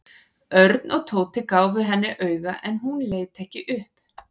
Örn og Tóti gáfu henni auga en hún leit ekki upp.